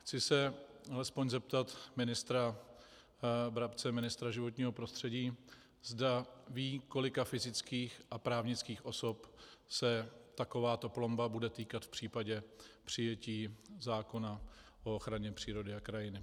Chci se alespoň zeptat ministra Brabce, ministra životního prostředí, zda ví, kolika fyzických a právnických osob se takováto plomba bude týkat v případě přijetí zákona o ochraně přírody a krajiny.